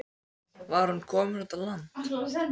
Var hún komin út á land?